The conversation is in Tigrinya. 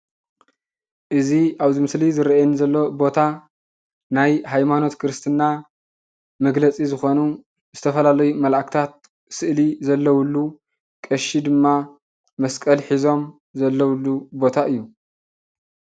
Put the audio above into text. እዚ ኣብዚ ምስሊ ዝረኣየኒ ዘሎ ቦታ ናይ ሃይማኖት ክርስትና መግለፂ ዝኾኑ ዝተፈላለዩ መላኢክታት ስእሊ ዘለውሉ ቀሺ ድማ መስቀል ሒዞም ዘለውሉ ቦታ እዩ።